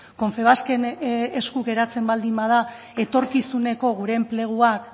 confebasken esku geratzen baldin bada etorkizuneko gure enpleguak